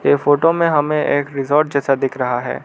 ये फोटो में हमें एक रिसॉर्ट जैसा दिख रहा है।